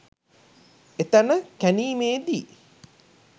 එතැන කැණීමේ දී